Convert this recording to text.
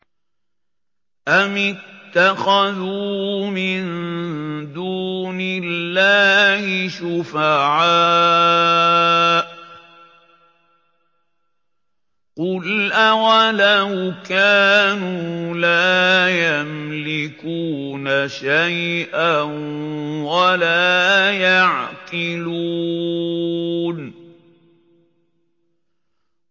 أَمِ اتَّخَذُوا مِن دُونِ اللَّهِ شُفَعَاءَ ۚ قُلْ أَوَلَوْ كَانُوا لَا يَمْلِكُونَ شَيْئًا وَلَا يَعْقِلُونَ